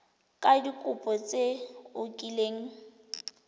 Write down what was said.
ka dikopo tse o kileng